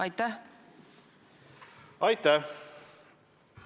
Aitäh!